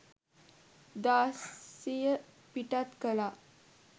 දාසිය පිටත් කළා.